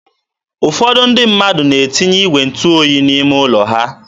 ụfọdụ ndị mmadụ na-etinye igwe ntụ oyi n'ime ụlọ ha.